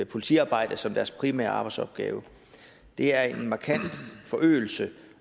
politiarbejde som deres primære arbejdsopgave det er en markant forøgelse